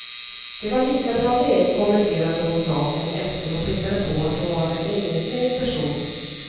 Det var lika bra det, kommenterade hon saken efter och pekade på att hon var en egensinnig person.